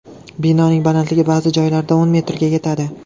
Binoning balandligi ba’zi joylarda o‘n metrga yetadi.